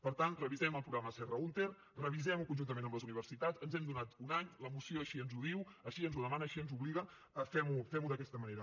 per tant revisem el programa serra húnter revisem lo conjuntament amb les universitats ens hem donat un any la moció així ens ho diu així ens ho demana així ens hi obliga fem ho d’aquesta manera